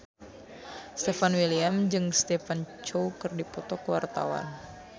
Stefan William jeung Stephen Chow keur dipoto ku wartawan